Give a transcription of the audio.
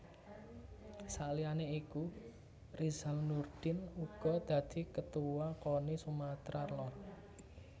Saliyane iku Rizal Nurdin uga dadi Ketuwa Koni Sumatra Lor